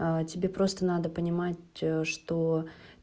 а тебе просто надо понимать что